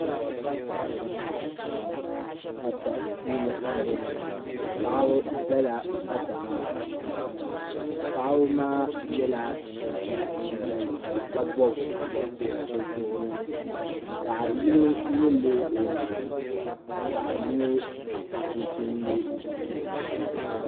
pata puuni m boŋɔ paɣaba zala pata maa puuni paɣaba maa yɛla chinchina liiga nima ka bobbi bobsi bi zuɣ'ri ni paɣa yino nyilila o nyina ka paɣa yino chinchin nyɛ chinchi ʒee